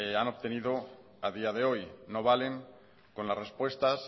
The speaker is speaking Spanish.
han obtenido a día de hoy no valen con las respuestas